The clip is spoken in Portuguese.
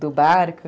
do barco.